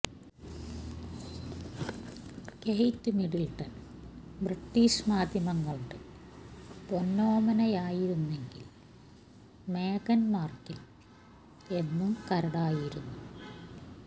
Kate Middleton British മാധ്യമങ്ങളുടെ പൊന്നോമനയായിരുന്നെങ്കിൽ മേഗൻ മാർക്കിൾ എന്നും കരടായിരുന്നു